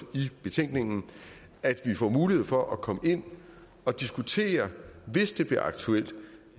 i betænkningen at vi får mulighed for at komme ind og diskutere hvis det bliver aktuelt